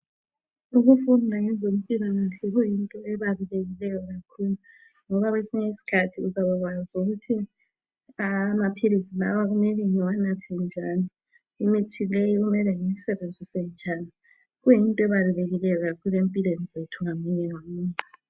Ukufunda ngezempilakahle kuyinto ebalulekileyo kakhulu ngoba kwesinye isikhathi uyabakwazi ukuthi amaphilisi lawa kumele ngiwanathe njani, imithi leyi kumele ngiyisebenzise njani. Kuyinto ebalulekileyo kakhulu empilweni zethu ngamunye ngamunye.